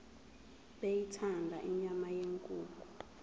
beyithanda inyama yenkukhu